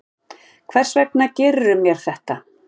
Hvers vegna gerðirðu mér þetta?